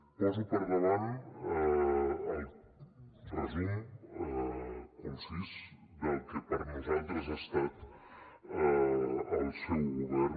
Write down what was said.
poso per davant el resum concís del que per nosaltres ha estat el seu govern